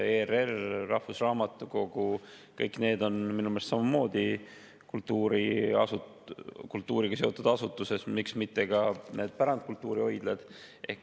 ERR, rahvusraamatukogu – kõik need on minu meelest samamoodi kultuuriga seotud asutused, miks mitte ka pärandkultuurihoidla.